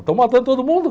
Estão matando todo mundo.